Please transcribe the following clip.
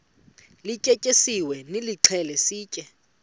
lityetyisiweyo nilixhele sitye